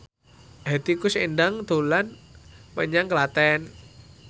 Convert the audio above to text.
Hetty Koes Endang dolan menyang Klaten